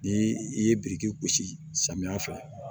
Ni i ye biriki gosi samiya fɛ